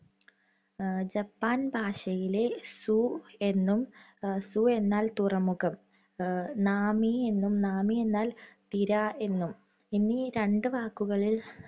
എഹ് Japan ഭാഷയിലെ സു എന്നും സു എന്നാല്‍ തുറമുഖം നാമി എന്നും നാമി എന്നാല്‍ തിര എന്നും, എന്നീ രണ്ടു വാക്കുകളില്‍